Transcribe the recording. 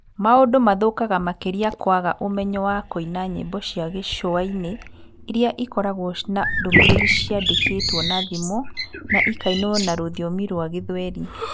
Maũndu mathũkaga makĩria kũaga ũmenyo wa kũina nyĩmbo cia gĩcũa-inĩ iria ĩkoragwo na ndũmĩrĩri ciandĩkĩtwo na thimo na ikainwo na rũthiomi rwa gĩthweri.